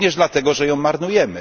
Również dlatego, że ją marnujemy.